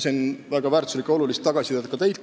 Sain väga väärtuslikku ja olulist tagasisidet ka teilt.